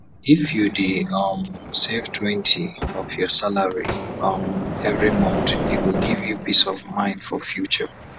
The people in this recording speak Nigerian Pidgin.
if u dey um savetwentyof ur salary um everi month e go give u peace of mind for future